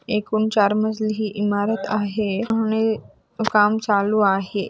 एकूण चार मजली ही इमारत आहे. आणि काम चालू आहे.